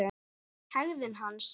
Hegðun hans?